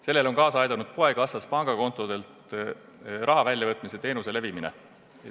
Sellele on kaasa aidanud poekassas pangakontodelt raha väljavõtmise teenuse levimine.